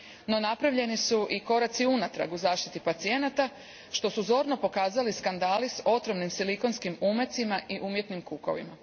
No, napravljeni su i koraci unatrag u zaštiti pacijenata što su zorno pokazali skandali s otrovnim silikonskim umecima i umjetnim kukovima.